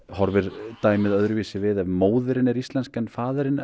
horfir dæmið öðruvísi við ef móðirin er íslensk en faðirinn